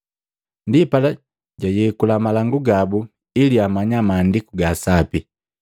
Ndipala, jaayekula malangu gabu ili amanya Maandiku ga Sapi.